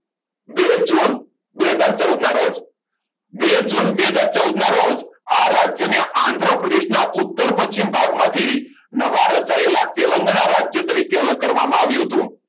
જે જૂન બે હજાર ચૌદના રોજ બે બે હજાર ચૌદના રોજ આર રાજ્યને આંધ્ર પ્રદેશના ઉત્તર પશ્ચિમ ભાગમાંથી નવા રચાયેલા તેલંગાના રાજ્ય તરીકે અલગ કરવામાં આવ્યું હતું